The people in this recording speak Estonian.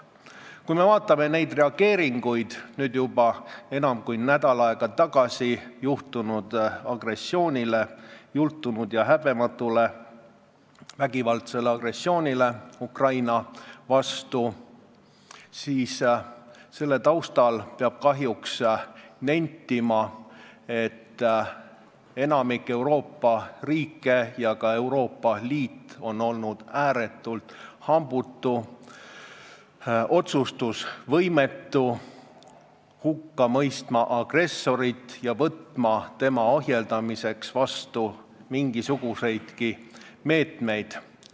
Kui me vaatame reageeringuid juba enam kui nädal aega tagasi juhtunud agressioonile, jultunud ja häbematule vägivaldsele agressioonile Ukraina vastu, siis selle taustal peab kahjuks nentima, et enamik Euroopa riike ja ka Euroopa Liit on olnud ääretult hambutud, otsustusvõimetud hukka mõistma agressorit ja võtma tema ohjeldamiseks mingisuguseidki meetmeid.